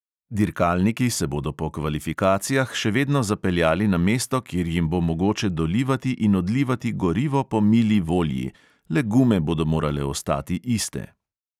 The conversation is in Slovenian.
Dirkalniki se bodo po kvalifikacijah še vedno zapeljali na mesto, kjer jim bo mogoče dolivati in odlivati gorivo po mili volji, le gume bodo morale ostati iste.